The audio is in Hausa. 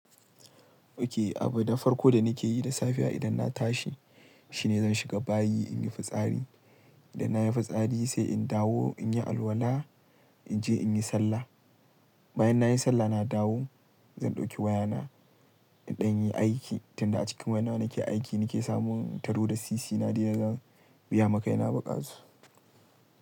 Okay, abun farko da nake yi da safiya idan na tashi shine zan shiga bayi in yi fitsari. Idan na yi fitsari sai in dawo in yi alwala, in je in yi sallah. Bayan na yi sallah na dawo zan ɗauki wayana ɗan yi aiki. Tunda a cikin wayana nake aiki nake samun taro da sisi na dai da zan biya ma kai na buƙatu.